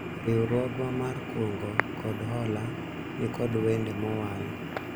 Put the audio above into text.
riwruogwa mar kungo kod hola nikod wende mowal